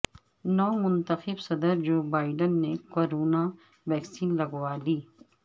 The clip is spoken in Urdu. نو منتخب صدر جو بائیڈن نے کرونا ویکسین لگوا لی